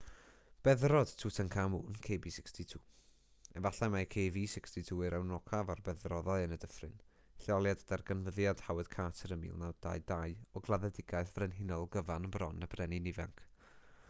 beddrod tutankhamun kb62. efallai mai kv62 yw'r enwocaf o'r beddrodau yn y dyffryn lleoliad darganfyddiad howard carter yn 1922 o gladdedigaeth frenhinol gyfan bron y brenin ifanc